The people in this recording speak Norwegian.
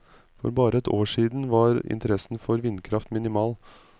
For bare et år siden var interessen for vindkraft minimal.